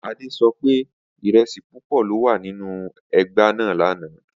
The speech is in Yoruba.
Ade so pe iresi pupo lo wa ninu egbe naa lana.